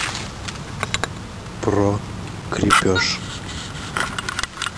про крепеж